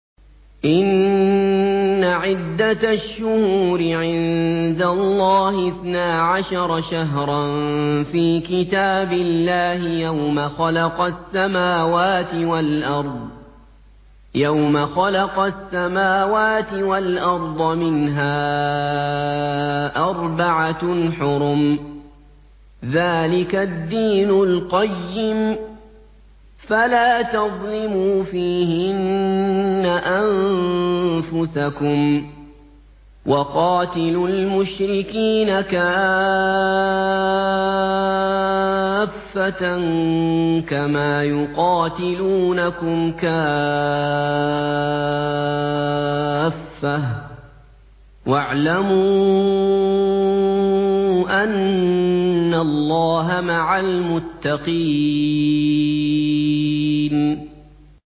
إِنَّ عِدَّةَ الشُّهُورِ عِندَ اللَّهِ اثْنَا عَشَرَ شَهْرًا فِي كِتَابِ اللَّهِ يَوْمَ خَلَقَ السَّمَاوَاتِ وَالْأَرْضَ مِنْهَا أَرْبَعَةٌ حُرُمٌ ۚ ذَٰلِكَ الدِّينُ الْقَيِّمُ ۚ فَلَا تَظْلِمُوا فِيهِنَّ أَنفُسَكُمْ ۚ وَقَاتِلُوا الْمُشْرِكِينَ كَافَّةً كَمَا يُقَاتِلُونَكُمْ كَافَّةً ۚ وَاعْلَمُوا أَنَّ اللَّهَ مَعَ الْمُتَّقِينَ